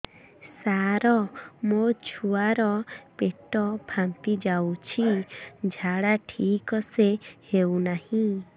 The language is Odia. ସାର ମୋ ଛୁଆ ର ପେଟ ଫାମ୍ପି ଯାଉଛି ଝାଡା ଠିକ ସେ ହେଉନାହିଁ